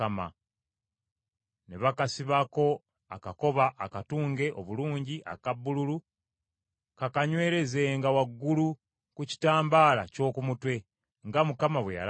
Ne bakasibako akakoba akatunge obulungi aka bbululu, kakanywerezenga waggulu ku kitambaala ky’oku mutwe; nga Mukama bwe yalagira Musa.